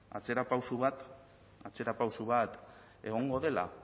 atzerapauso bat atzerapauso bat egongo dela